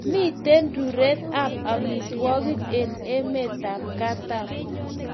Miten raruen ab amitwokik en emet ab katam